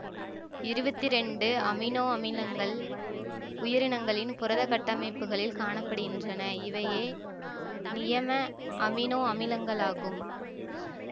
இருவத்தி இரண்டு அமினோ அமிலங்கள் உயிரினங்களின் புரதக் கட்டமைப்புகளில் காண படுகின்றன இவையே நியம அமினோ அமிலங்களாகும்